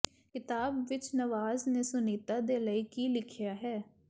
ਕਿਤਾਬ ਵਿੱਚ ਨਵਾਜ਼ ਨੇ ਸੁਨੀਤਾ ਦੇ ਲਈ ਕੀ ਲਿਖਿਆ ਹੈ